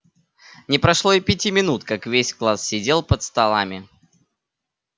не прошло и пяти минут как весь класс сидел под столами